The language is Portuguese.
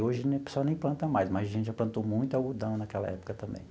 Hoje o pessoal nem planta mais, mas a gente já plantou muito algodão naquela época também.